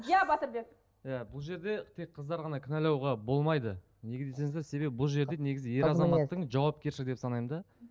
иә батырбек иә бұл жерде тек қыздар ғана кінәлауға болмайды неге десеңіздер себебі бұл жерде негізі ер азаматтың жауапкершілігі деп санаймын да